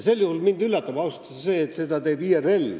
Sel juhul üllatab mind ausalt öeldes see, et seda teeb IRL.